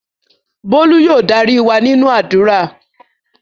Bólú yóò darí wa nínú àdúrà